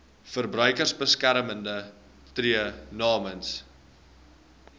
verbruikersbeskermer tree namens